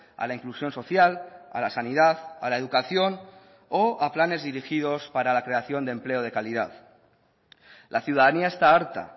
a la inclusión social a la sanidad a la educación o a planes dirigidos para la creación de empleo de calidad la ciudadanía está harta